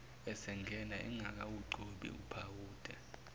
esegeza engakawugcobi uphawuda